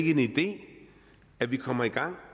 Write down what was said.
en idé at vi kommer i gang